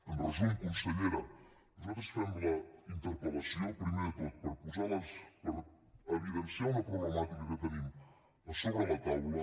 en resum consellera nosaltres fem la interpel·lació primer de tot per evidenciar una problemàtica que tenim a sobre la taula